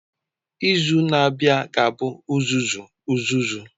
Izu na-abịa ga-abụ uzuzu uzuzu.